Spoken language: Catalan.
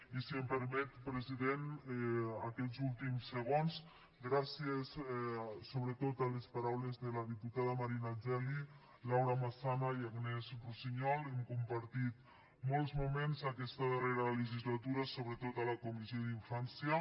i si em permet president aquests últims segons gràcies sobretot a les paraules de les diputades marina geli laura massana i agnès russiñol hem compartit molts moments en aquesta darrera legislatura sobretot a la comissió d’infància